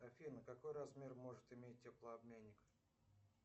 афина какой размер может иметь теплообменник